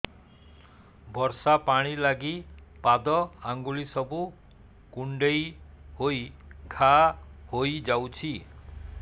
ବର୍ଷା ପାଣି ଲାଗି ପାଦ ଅଙ୍ଗୁଳି ସବୁ କୁଣ୍ଡେଇ ହେଇ ଘା ହୋଇଯାଉଛି